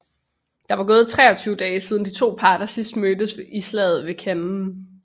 Der var gået 23 år siden de to parter sidst mødtes i slaget ved Cannae